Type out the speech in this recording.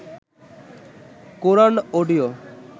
Quran audio